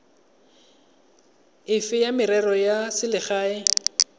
efe ya merero ya selegae